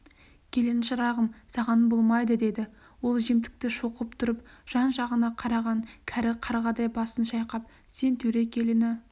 келін шырағым саған болмайды деді ол жемтікті шоқып тұрып жан-жағына қараған кәрі қарғадай басын шайқап сен төре келіні